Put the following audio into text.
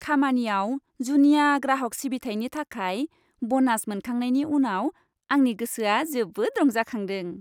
खामानियाव जुनिया ग्राहक सिबिथायनि थाखाय बनास मोनखांनायनि उनाव आंनि गोसोआ जोबोद रंजाखांदों!